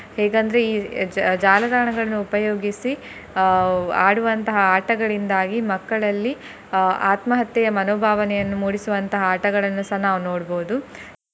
ಹೇಗಂದ್ರೆ ಈ ಜಾ~ ಜಾಲತಾಣಗಳನ್ನು ಉಪಯೋಗಿಸಿ ಅಹ್ ಆಡುವಂತಹ ಆಟಗಳಿಂದಾಗಿ ಮಕ್ಕಳಲ್ಲಿ ಅಹ್ ಆತ್ಮಹತ್ಯೆಯ ಮನೋಭಾವನೆಯನ್ನು ಮೂಡಿಸುವಂತಹ ಆಟಗಳನ್ನುಸ ನಾವು ನೋಡ್ಬೋದು.